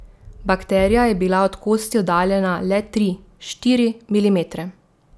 Bakterija je bila od kosti oddaljena le tri, štiri milimetre.